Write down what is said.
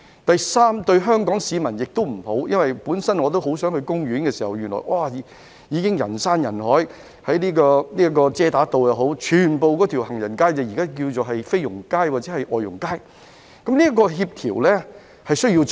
第三，對香港市民亦不好，因為他們原本想到公園逛逛，但那裏人山人海，而在假日時，整條遮打道擠滿外傭，有人稱這街道為"菲傭街"或"外傭街"，當局需要進行協調工作。